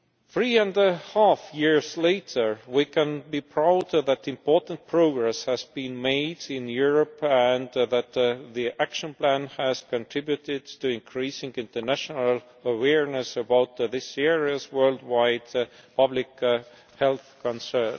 Three and a half years later, we can be proud that important progress has been made in Europe and that the Action Plan has contributed to increasing international awareness about this serious worldwide public health concern.